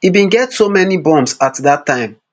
e bin get so many bombs at dat time